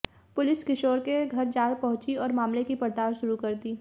police किशोर के घर जा पहुंची और मामले की पड़ताल शुरू कर दी